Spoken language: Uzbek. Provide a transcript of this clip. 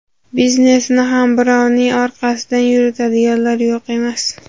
Biznesini ham birovning orqasidan yuritadiganlar yo‘q emas.